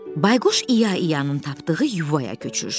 Bayquş İya-Iyanın tapdığı yuvaya köçür.